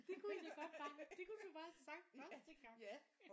Det kunne i da godt bare det kunne du da bare havde sagt første gang